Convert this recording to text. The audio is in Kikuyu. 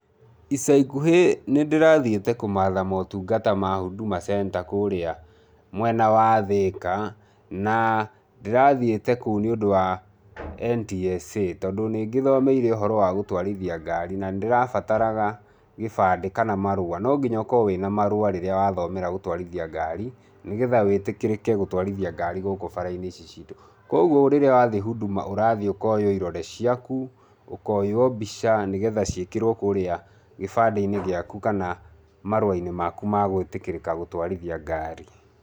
Ica ikuhĩ nĩ ndĩrathiĩte kũmatha motungata ma Huduma Center kũrĩa mwena wa Thĩka, na ndĩrathiĩte kũu nĩ ũndũ wa NTSA tondũ nĩ ngĩthomeire ũhoro wa gũtwarithia ngari na nĩ ndĩrabataraga kĩbandĩ kana marũa. No nginya ũkorũo wĩ na marũa rĩrĩa wathomera gũtwarithia ngari, nĩ getha wĩtĩkĩrĩke gũtwarithia ngari gũkũ bara-inĩ ici citũ. Kwoguo rĩrĩa wathiĩ Huduma, ũrathiĩ ũkoyo irore ciaku, ũkoyo mbica nĩ getha ciĩkĩrwo kũrĩa kĩbandĩ-inĩ gĩaku kana marũa-inĩ maku ma gũĩtĩkĩrĩka gũtwarithia ngari.